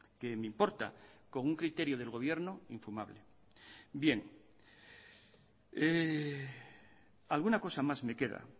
que me importa con un criterio del gobierno infumable bien alguna cosa más me queda